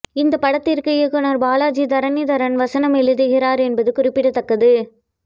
இந்த படத்திற்கு இயக்குனர் பாலாஜி தரணிதரன் வசனம் எழுதுகிறார் என்பது குறிப்பிடத்தக்கது